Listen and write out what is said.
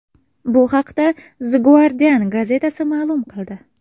Bu haqda The Guardian gazetasi ma’lum qildi .